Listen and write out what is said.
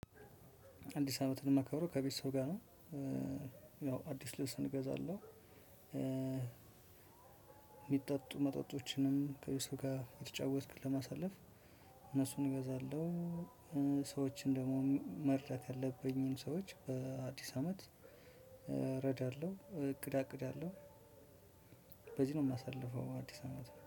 አዲስ አመትን የማከብረው ከቤተሰብ ጋር ነው። ያው አዲስ ልብስ እገዛለሁ። እሚጠጡ መጠጦችንም ከ ቤትሰብ ጋር እየተጫዎክ ለማሳለፍ እነሱን እገዛለው። ሰዎችን ደግሞ መርዳት ያለብኝን ሰዎች በአዲስ አመት እረዳለሁ እቅድ አቅዳለው። በዚህ ነው የማሳልፈው አዲስ አመት